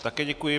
Také děkuji.